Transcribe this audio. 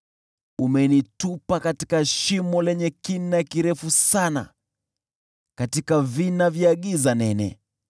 Umenitupa katika shimo lenye kina kirefu sana, katika vina vya giza nene.